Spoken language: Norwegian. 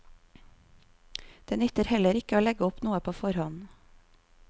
Det nytter heller ikke å legge opp noe på forhånd.